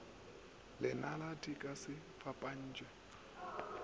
lenala di ka se fapantšhwe